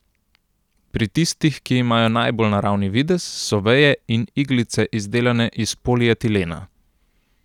Pri tistih, ki imajo najbolj naravni videz, so veje in iglice izdelane iz polietilena.